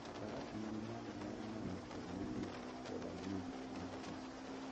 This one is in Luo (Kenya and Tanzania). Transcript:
Faras nigi nyalo mar nano e bwo liet koda ng'ich mar thim.